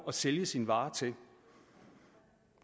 at sælge sine varer til